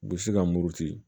U bɛ se ka muruti